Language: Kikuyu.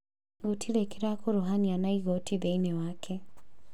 Gũtĩrĩ kĩrakuruhania na Igooti thĩinĩ wake